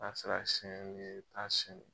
Nan sera ka e bɛ ta